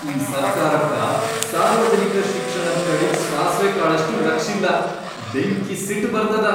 ಈ ಸರ್ಕಾರಕ್ಕ ಸಾರ್ವಜನಿಕ ಶಿಕ್ಷಣದ್ ಕಡಿಗ್ ಸಾಸ್ವೆ ಕಾಳಷ್ಟೂ ಲಕ್ಷಿಲ್ಲ, ಬೆಂಕಿ ಸಿಟ್ ಬರ್ತದ.